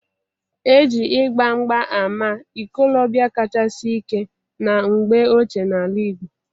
E ji :igba mgba ama ikolobia kacha si ike na mgbe ochie n'ala igbo.